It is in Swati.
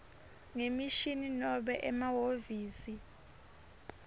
ngemishini nobe emahhovisi